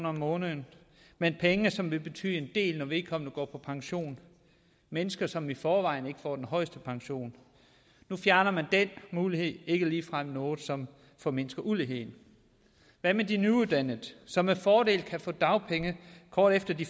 om måneden men penge som vil betyde en del når vedkommende går på pension mennesker som i forvejen ikke får den højeste pension nu fjerner man den mulighed ikke ligefrem noget som formindsker uligheden hvad med de nyuddannede som med fordel kan få dagpenge kort efter de